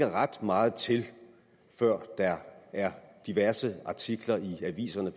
ret meget til før der er diverse artikler i aviserne